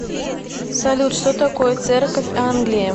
салют что такое церковь англии